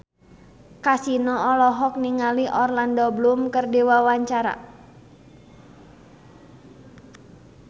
Kasino olohok ningali Orlando Bloom keur diwawancara